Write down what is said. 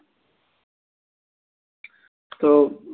তো